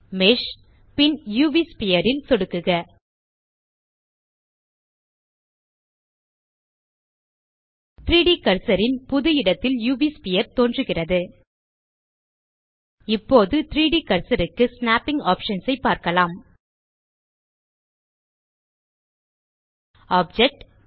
mash பின் UV sphere ல் சொடுக்குக 3ட் கர்சர் ன் புது இடத்தில் உவ் ஸ்பீர் தோன்றுகிறது இப்போது 3ட் கர்சர் க்கு ஸ்நேப்பிங் ஆப்ஷன்ஸ் ஐ பார்க்கலாம் ஆப்ஜெக்ட்